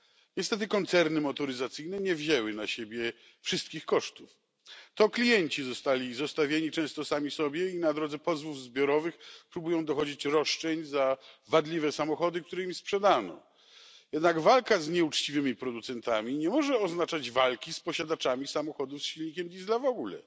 Niestety koncerny motoryzacyjne nie wzięły na siebie wszystkich kosztów. To klienci zostali zostawieni często sami sobie i na drodze pozwów zbiorowych próbują dochodzić roszczeń za wadliwe samochody, które im sprzedano. Jednak walka z nieuczciwymi producentami nie może oznaczać walki z posiadaczami samochodów z silnikiem Diesla w ogóle.